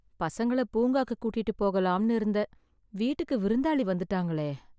பசங்கள பூங்காக்கு கூட்டிட்டு போகலாம்னு இருந்தேன், வீட்டுக்கு விருந்தாளி வந்துட்டாங்களே...